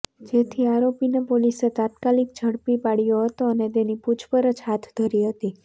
જેથી આરોપીને પોલીસે તાત્કાલિક ઝડપી પાડ્યો હતો અને તેની પૂછપરછ હાથ ધરી હતી